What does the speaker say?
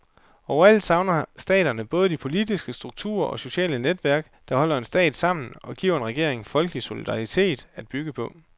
Overalt savner staterne både de politiske strukturer og sociale netværk, der holder en stat sammen og giver en regering folkelig solidaritet at bygge på.